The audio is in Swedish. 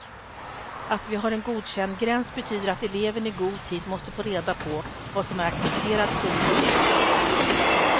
Att vi har en godkändgräns betyder att eleverna i god tid måste få reda på vad som är accepterad kunskapsnivå.